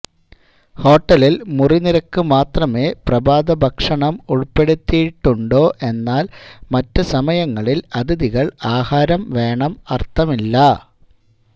ഹോട്ടലിൽ മുറി നിരക്ക് മാത്രമേ പ്രഭാതഭക്ഷണം ഉൾപ്പെടുത്തിയിട്ടുണ്ടോ എന്നാൽ മറ്റ് സമയങ്ങളിൽ അതിഥികൾ ആഹാരം വേണം അർത്ഥമില്ല